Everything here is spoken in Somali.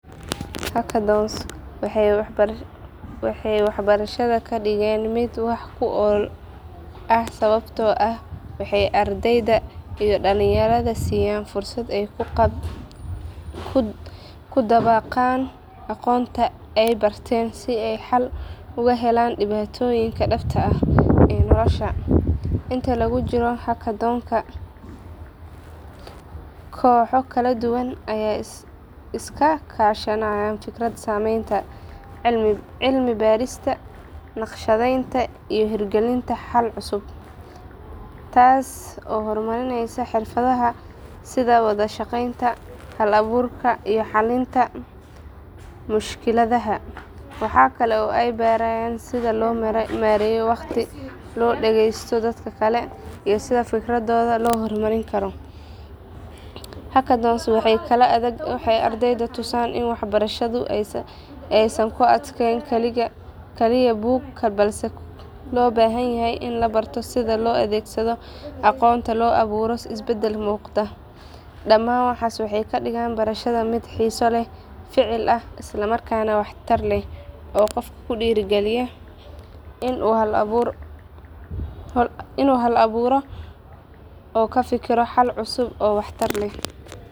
Hackathons waxay waxbarashada ka dhigeen mid wax ku ool ah sababtoo ah waxay ardayda iyo dhalinyarada siiyaan fursad ay ku dabaqaan aqoonta ay barteen si ay xal ugu helaan dhibaatooyin dhabta ah ee nolosha. Inta lagu jiro hackathonka, kooxo kala duwan ayaa iska kaashanaya fikrad sameynta, cilmi baarista, naqshadeynta iyo hirgelinta xalal cusub, taas oo horumarinaysa xirfadaha sida wada shaqeynta, hal abuurka, iyo xalinta mushkiladaha. Waxaa kale oo ay barayaan sida loo maareeyo waqti, loo dhageysto dadka kale, iyo sida fikradooda loo hormarin karo. Hackathons waxay kaloo ardayda tusaan in waxbarashadu aysan ku ekeyn kaliya buug, balse loo baahan yahay in la barto sida loo adeegsado aqoonta si loo abuuro isbeddel muuqda. Dhammaan waxaas waxay ka dhigaan barashada mid xiiso leh, ficil ah, isla markaana waxtar leh oo qofka ku dhiirrigeliya inuu hal abuuro oo ka fikiro xalal cusub oo waxtar leh.